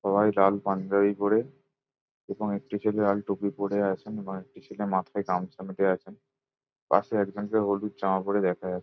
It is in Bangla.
সবাই লাল পাঞ্জাবি পরে এবং একটি ছেলে লাল টুপি পরে আছেন এবং একটি ছেলে মাথায় গামছা বেঁধে আছেন পাশে একজনকে হলুদ জামা পরে দেখা যাচ্ছে।